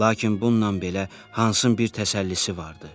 Lakin bununla belə Hansın bir təsəllisi vardı.